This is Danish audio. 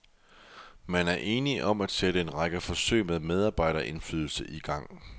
Man er enige om at sætte en række forsøg med medarbejderindflydelse i gang.